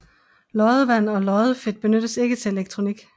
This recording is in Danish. Loddevand og loddefedt benyttes ikke til elektronik